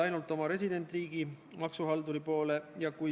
Austatud istungi juhataja!